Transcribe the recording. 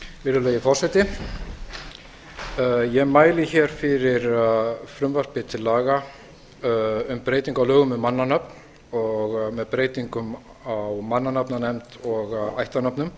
virðulegi forseti ég mæli fyrir frumvarpi til laga um breytingu á lögum um mannanöfn og með breytingum á mannanafnanefnd og ættarnöfnum